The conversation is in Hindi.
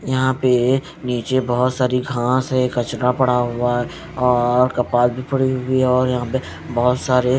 यहां पे नीचे बहोत सारी घासं हैं कचरा पड़ा हुआ है और कपाल भी पड़ी हुईं है और यहां पे बहोत सारे--